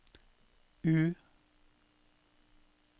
U